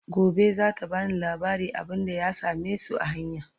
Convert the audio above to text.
Gobe zata bani labarin abunda ya samesu a hanya